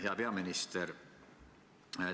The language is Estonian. Hea peaminister!